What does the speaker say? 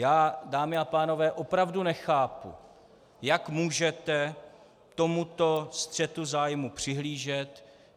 Já, dámy a pánové, opravdu nechápu, jak můžete tomuto střetu zájmů přihlížet.